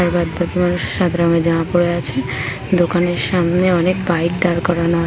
আর বাদ বাকি মানুষ সাদা রঙের জামা পরে আছে দোকানের সামনে অনেক বাইক দাঁড় করানো আ-- .